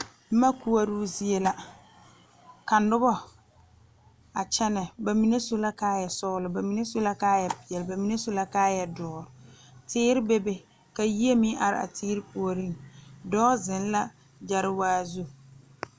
Boma koɔroo zie la ka noba a kyɛnɛ ba mine su la kaayasɔglɔ ba mine su la kaayapeɛlle ba mine su la kaayadoɔ teere bebe ka yie meŋ are a teere puoriŋ dɔɔ zeŋ la gyɛrewaa zu.